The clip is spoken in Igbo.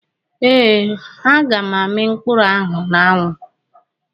Eeh, ha ga m ami mkpuru ahu n'anwu.